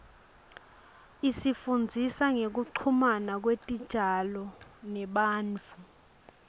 isifundzisa ngekuchumana kwetitjalo nebantfu